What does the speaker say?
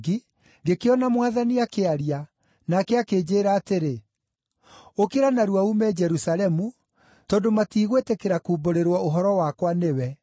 ngĩkĩona Mwathani akĩaria, nake akĩnjĩĩra atĩrĩ, ‘Ũkĩra narua uume Jerusalemu, tondũ matiigwĩtĩkĩra kumbũrĩrwo ũhoro wakwa nĩwe.’